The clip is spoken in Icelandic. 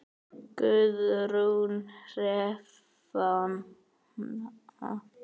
Guðrún Hrefna.